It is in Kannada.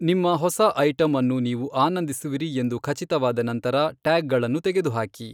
ನಿಮ್ಮ ಹೊಸ ಐಟಂ ಅನ್ನು ನೀವು ಆನಂದಿಸುವಿರಿ ಎಂದು ಖಚಿತವಾದ ನಂತರ ಟ್ಯಾಗ್ಗಳನ್ನು ತೆಗೆದುಹಾಕಿ.